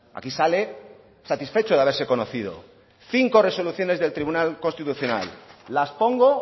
aquí sale satisfecho de haberse conocido cinco resoluciones del tribunal constitucional las pongo